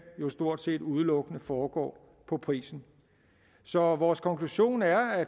jo stort set udelukkende foregår på prisen så vores konklusion er at